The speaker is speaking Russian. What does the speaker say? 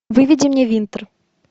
выведи мне винтер